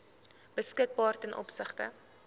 beskikbaar ten opsigte